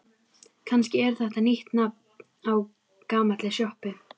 Kannski er þetta nýtt nafn á gamalli sjoppu?